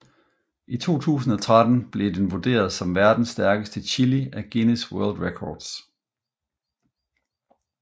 I 2013 blev den vurderet som verdens stærkeste chili af Guinness World Records